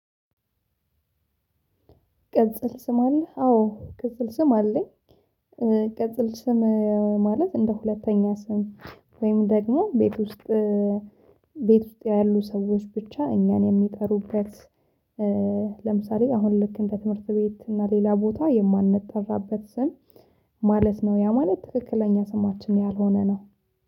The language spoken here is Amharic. ቅጽል ስም አለህ አዎ ቅጽል ስም አለኝ። ቅጽል ስም ማለት እንደ ሁለተኛ ስም ወይም ደግሞ ቤት ውስጥ ቤት ውስጥ ያሉ ሰዎች ብቻ እኛን የሚጠሩበት። ለምሳሌ አሁን ልክ እንደ ትምህርት ቤት እና ሌላ ቦታ የማንጠራበት ስም ማለት ነው ያ ማለት ትክክለኛ ስማችን ያልሆነ ነው